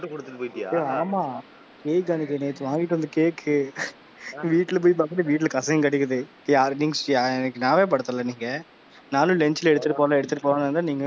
டேய் ஆமா நேத்து வாங்கிட்டு வந்த கேக்கு, வீட்ல போய் பாக்குற, வீட்ல கசங்கி கிடக்குது. யாரு எனக்கு ஞாபகப் படுத்தல நீங்க, நானும் lunch ல எடுத்துட்டு போலா எடுத்துட்டு போலாம்னு இருந்தன்,